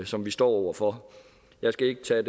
som vi står over for jeg skal ikke tage